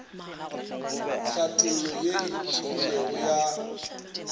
tlhathollo ye e tebilego ya